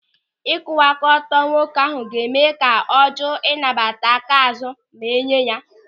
Ịkwụwa aka ọtọ nwoke ahụ ga-eme ka ọ jụụ ịnata aka azụ ma enye ya.